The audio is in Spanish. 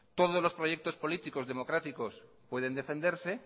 todos los proyectos políticos democráticos pueden defenderse